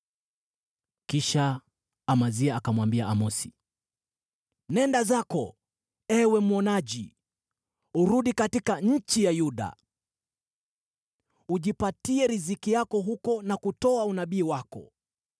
Kisha Amazia akamwambia Amosi, “Nenda zako, ewe mwonaji! Urudi katika nchi ya Yuda. Ujipatie riziki yako huko na kutoa unabii wako.